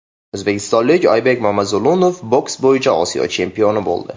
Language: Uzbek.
O‘zbekistonlik Oybek Mamazulunov boks bo‘yicha Osiyo chempioni bo‘ldi.